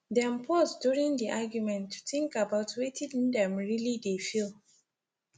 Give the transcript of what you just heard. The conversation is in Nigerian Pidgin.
dem pause during the argument to think about wetin dem really dey feel